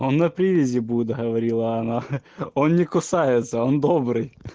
на привязи будет говорила она он не кусается он добрый